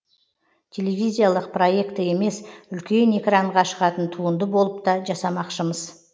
телевизиялық проекті емес үлкен экранға шығатын туынды болып та жасамақшымыз